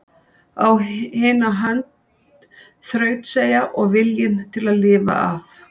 Á hina hönd þrautseigja og viljinn til að lifa af.